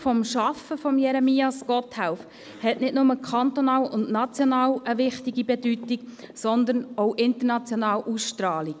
Das Schaffen von Jeremias Gotthelf hat nicht nur kantonal und national eine wichtige Bedeutung, sondern auch eine internationale Ausstrahlung.